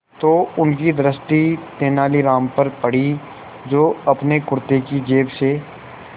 तो उनकी दृष्टि तेनालीराम पर पड़ी जो अपने कुर्ते की जेब से